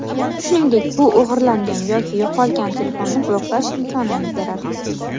Shuningdek, bu o‘g‘irlangan yoki yo‘qolgan telefonni bloklash imkonini beradi.